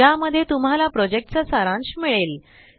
ज्या मध्ये तुम्हाला प्रोजेक्टचा सारांश मिळेल